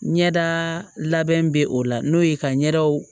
Ɲɛda labɛn bɛ o la n'o ye ka ɲɛdaw